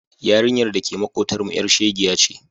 Yarinyar da ke maƙotanmu ƴar shegiya ce.